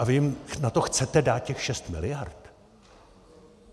A vy jim na to chcete dát těch 6 miliard?